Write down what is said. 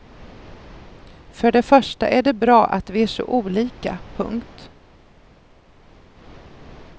För det första är det bra att vi är så olika. punkt